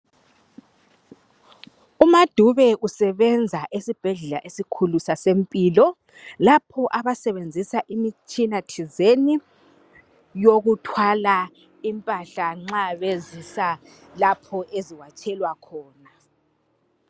U MaDube usebenza esibhedlela esikhulu sase Mpilo lapho abasebenzisa imitshina thizeni yokuthwala impahla nxa bezisa lapho eziwatshelwa khona.